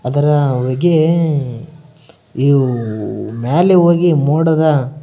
ಅದರ ಹೊಗೆ ಇವು ಮ್ಯಾಲ ಹೋಗಿ ಮೊಡದ --